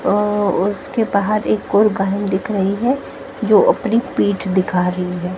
और उसके बाहर एक गोर गाहिन दिख रही हैं जो अपनी पीठ दिखा रही है।